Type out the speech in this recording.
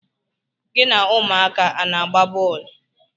Gị na ụmụaka a na-agba bọọlụ?